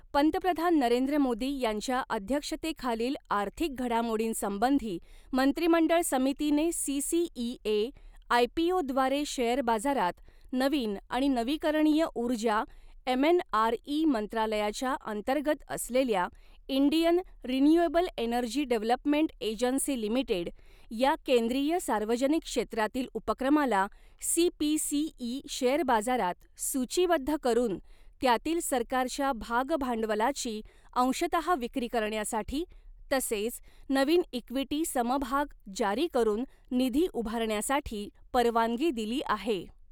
पंतप्रधान नरेंद्र मोदी यांच्या अध्यक्षतेखालील आर्थिक घडामोडींसंबंधी मंत्रिमंडळ समितीने सी सी इ ए आयपीओद्वारे शेअर बाजारात नवीन आणि नवीकरणीय ऊर्जा एम एन आर इ मंत्रालयाच्या अंतर्गत असलेल्या Indian renewable energy development agency limited या केंद्रीय सार्वजनिक क्षेत्रातील उपक्रमाला C P C E share बाजारात सूचीबद्ध करून त्यातील सरकारच्या भागभांडवलाची अंशतः विक्री करण्यासाठी तसेच नवीन इक़्विटी समभाग जारी करून निधी उभारण्यासाठी परवानगी दिली आहे.